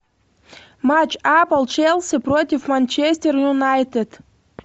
матч апл челси против манчестер юнайтед